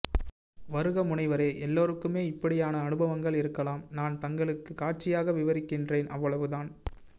வருக முனைவரே எல்லோருக்குமே இப்படியான அனுபவங்கள் இருக்கலாம் நான் தங்களுக்கு காட்சியாக விவரிக்கின்றேன் அவ்வளவுதான்